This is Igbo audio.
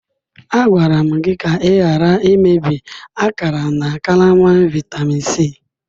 Agwara m gị ka ị ghara imebi akara na karama vitamin C.